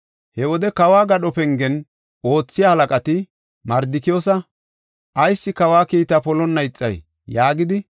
He wode kawo gadho pengen oothiya halaqati Mardikiyoosa, “Ayis kawa kiitaa polonna ixay?” yaagidi,